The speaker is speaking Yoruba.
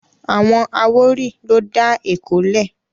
Àwọn àwórì ló dá Èkó lẹ̀